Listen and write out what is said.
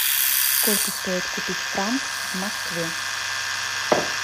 сколько стоит купить франк в москве